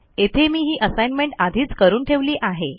येथे मी ही असाईनमेंट आधीच करून ठेवली आहे